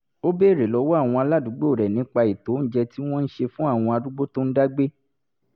ó béèrè lọ́wọ́ àwọn aládùúgbò rẹ̀ nípa ètò oúnjẹ tí wọ́n ń ṣe fún àwọn arúgbó tó ń dá gbé